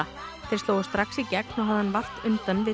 þeir slógu strax í gegn og hafði hann vart undan við